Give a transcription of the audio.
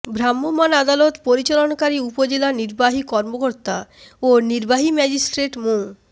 ভ্রাম্যমাণ আদালত পরিচালনাকারী উপজেলা নির্বাহী কর্মকর্তা ও নির্বাহী ম্যাজিস্ট্রেট মু